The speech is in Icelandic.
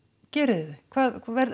gerið þið þau hvað